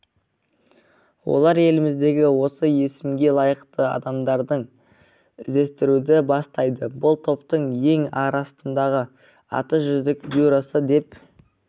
олар еліміздегі осы есімге лайықты адамдарды іздестіруді бастайды бұл топтың ел арасындағы аты жүздік бюросы деп